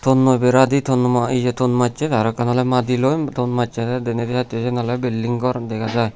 tonnoi bera di ton majche aro ekkan oley madiloi ton majjede denedi saidod siyen oley bilding gor dega jai.